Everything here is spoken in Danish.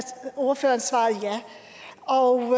ordføreren svarede